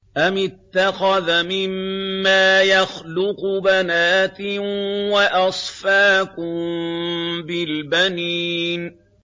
أَمِ اتَّخَذَ مِمَّا يَخْلُقُ بَنَاتٍ وَأَصْفَاكُم بِالْبَنِينَ